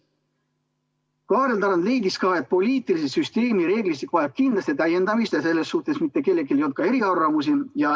Kaarel Tarand leidis ka, et poliitilise süsteemi reeglistik vajab kindlasti täiendamist, ja selles suhtes ei olnud mitte kellelgi eriarvamusi.